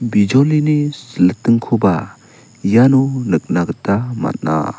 bijolini silitingkoba iano nikna gita man·a.